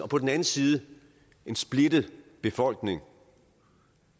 på den anden side en splittet befolkning